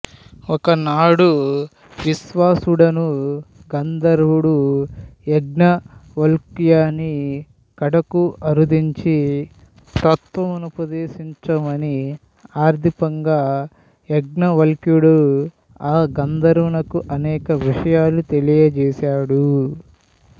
ఒకనాడు విశ్వావసుడను గందర్వుడు యాజ్ఞవల్క్యుని కడకు అరుదెంచి తత్త్వముపదేశించమని అర్థింపగా యాజ్ఞవల్క్యుడు ఆ గంధర్వునకు అనేక విషయాలు తెలియజేశాడు